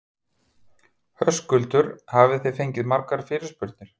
Höskuldur: Hafið þið fengið margar fyrirspurnir?